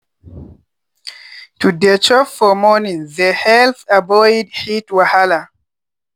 to dey chop for morning they helped avoid heat wahala.